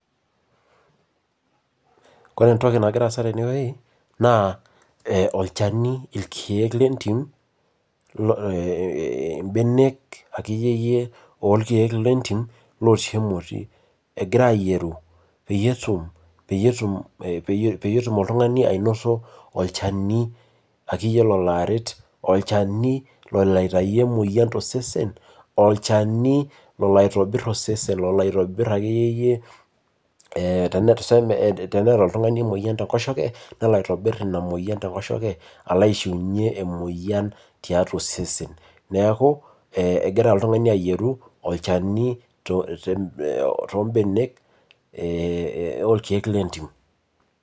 Koree entoki nagira aasa tenewueji na olchani, irkiek lentim ee mbenek akeyie lorkiek lentim egirai ayieru peyieu etum oltungani ainoto olchani akeyie lolo aret, olchani loloaitau emoyian tosesen, olchani loli aitobir osesen oloaitobir ake iyie ee teneata oltungani emoyian tenkosheke nelo aitobiri inamoyian akeyie tenkosheke alo aishiunye inamoyiantiatua osesen neakuegira oltungani ayieru olchani te te tombenek orkiek lentim.